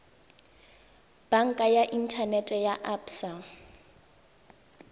banka ya inthanete ya absa